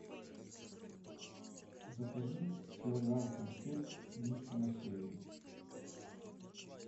закажи килограмм конфет мишка на севере